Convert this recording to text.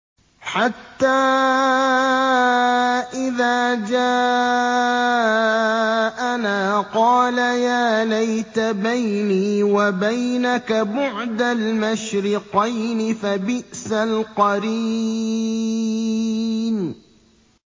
حَتَّىٰ إِذَا جَاءَنَا قَالَ يَا لَيْتَ بَيْنِي وَبَيْنَكَ بُعْدَ الْمَشْرِقَيْنِ فَبِئْسَ الْقَرِينُ